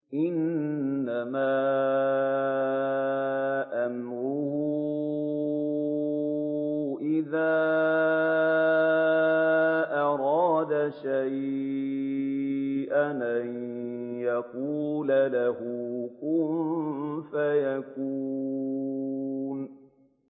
إِنَّمَا أَمْرُهُ إِذَا أَرَادَ شَيْئًا أَن يَقُولَ لَهُ كُن فَيَكُونُ